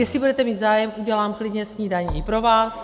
Jestli budete mít zájem, udělám klidně snídani i pro vás.